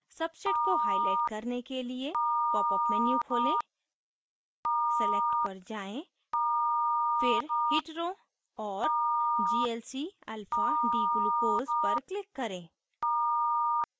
substrate को highlight करने के लिए popअप menu खोलें select पर जाएँ फिर hetero और glcalfadglucose पर click करें